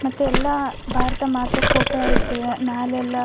ಮತ್ತೆ ಎಲ್ಲ ಭಾರತ ಮಾತೆ ಫೋಟೋ ಐತಿ ಮ್ಯಾಲೆಲ್ಲ --